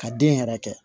Ka den yɛrɛ kɛ